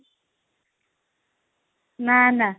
ନାଁ ନାଁ